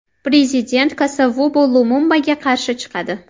Prezident Kasavubu Lumumbaga qarshi chiqadi.